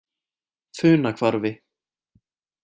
Funahvarfi